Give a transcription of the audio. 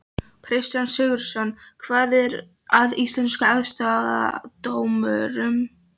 Kristján Sigurðsson: Hvað er að Íslenskum aðstoðardómurum?